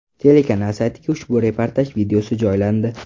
Telekanal saytiga ushbu reportaj videosi joylandi .